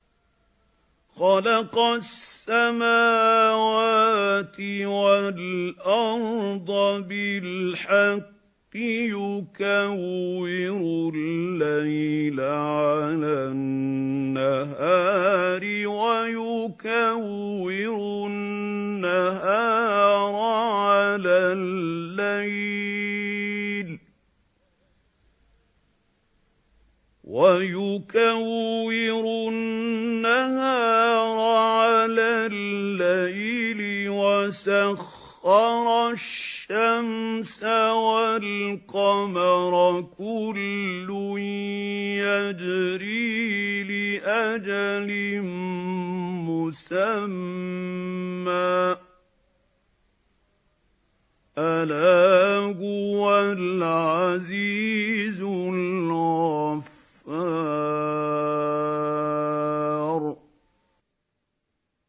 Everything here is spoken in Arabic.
خَلَقَ السَّمَاوَاتِ وَالْأَرْضَ بِالْحَقِّ ۖ يُكَوِّرُ اللَّيْلَ عَلَى النَّهَارِ وَيُكَوِّرُ النَّهَارَ عَلَى اللَّيْلِ ۖ وَسَخَّرَ الشَّمْسَ وَالْقَمَرَ ۖ كُلٌّ يَجْرِي لِأَجَلٍ مُّسَمًّى ۗ أَلَا هُوَ الْعَزِيزُ الْغَفَّارُ